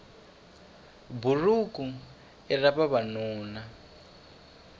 buruku i ra vavanuna